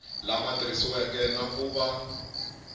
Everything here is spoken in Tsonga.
lama tikisiweke na ku va